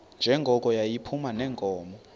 njengoko yayiphuma neenkomo